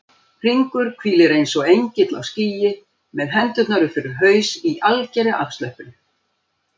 Hringur hvílir eins og engill á skýi með hendurnar upp fyrir haus í algerri afslöppun.